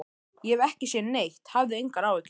Ég hef ekki séð neitt, hafðu engar áhyggjur.